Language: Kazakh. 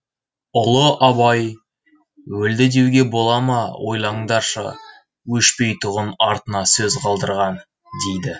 ұлы абай өлді деуге болама ойлаңдаршы өшпейтұғын артына сөз қалдырған дейді